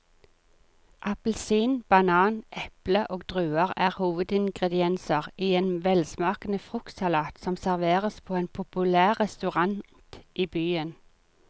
Appelsin, banan, eple og druer er hovedingredienser i en velsmakende fruktsalat som serveres på en populær restaurant i byen.